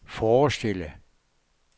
forestille